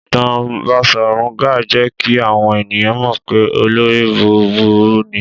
Ìtàn Baṣọ̀run Gáà jẹ́ kí àwọn ènìyàn mọ̀ pé olórí búburú ni.